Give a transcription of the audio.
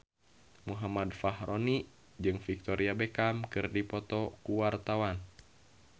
Muhammad Fachroni jeung Victoria Beckham keur dipoto ku wartawan